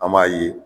An b'a ye